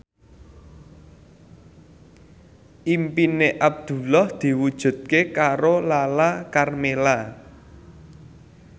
impine Abdullah diwujudke karo Lala Karmela